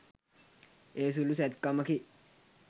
එය සුළු සැත්කමකි